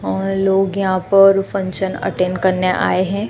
और लोग यहां पर फंक्शन अटेंड करने आए हैं।